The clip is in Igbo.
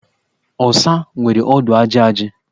Ọsa nwere ọdụ ajị ajị.